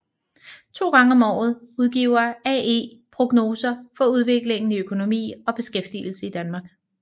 To gange om året udgiver AE prognoser for udviklingen i økonomi og beskæftigelse i Danmark